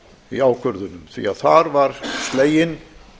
í ákvörðunum því að þar var sleginn